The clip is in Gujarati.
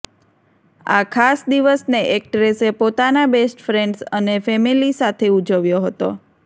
આ ખાસ દિવસને એક્ટ્રેસે પોતાના બેસ્ટફ્રેન્ડ્સ અને ફેમિલી સાથે ઉજવ્યો હતો